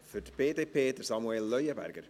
Für die BDP, Samuel Leuenberger.